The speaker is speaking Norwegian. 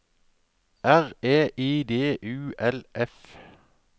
R E I D U L F